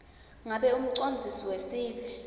ngabe umcondzisi wesive